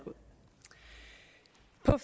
er